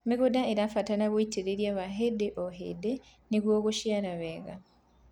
mĩgũnda irabatara ũitiriri wa hĩndĩ o hĩndĩ nĩguo guciarithia wega